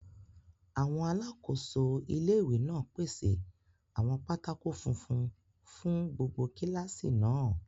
Àwọn alákòóso ilé-ìwé náà pèsè àwọn pátákó funfun fún gbogbo kílásì náà